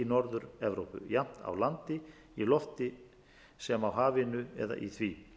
norður evrópu jafnt á landi í lofti sem á hafinu eða í því